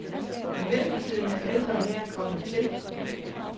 I mellemtiden er en ældre herre kommet til.